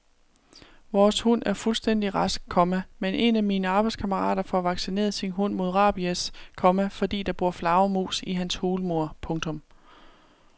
Vores hund er fuldstændig rask, komma men en af mine arbejdskammerater får vaccineret sin hund mod rabies, komma fordi der bor flagermus i hans hulmur. punktum